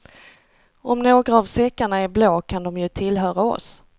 Om några av säckarna är blå kan de ju tillhöra oss.